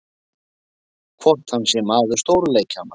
Hvort hann sé maður stóru leikjanna?